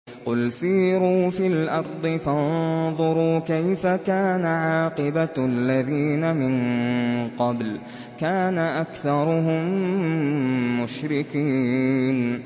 قُلْ سِيرُوا فِي الْأَرْضِ فَانظُرُوا كَيْفَ كَانَ عَاقِبَةُ الَّذِينَ مِن قَبْلُ ۚ كَانَ أَكْثَرُهُم مُّشْرِكِينَ